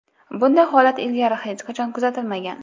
Bunday holat ilgari hech qachon kuzatilmagan.